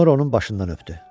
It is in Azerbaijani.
Sonra onun başından öpdü.